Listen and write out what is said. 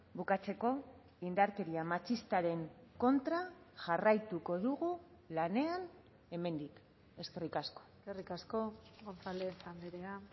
bukatzeko indarkeria matxistaren kontra jarraituko dugu lanean hemendik eskerrik asko eskerrik asko gonzález andrea